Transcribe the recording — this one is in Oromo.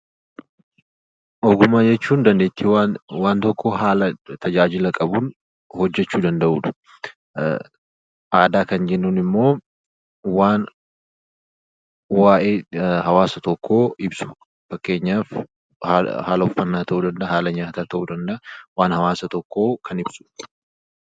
Ogummaa jechuun dandeettii waan tokko haala tajaajila qabuun hojjechuu danda'uu jechuudha. Aadaa kan jennuun immoo waan waa'ee hawaasa tokko ibsu fakkeenyaaf haala uffannaa ta'uu danda'a, ittiin nyaatan ta'uu danda'a, waan hawaasa tokkoo kan ibsudha.